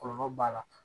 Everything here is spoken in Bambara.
Kɔlɔlɔ b'a la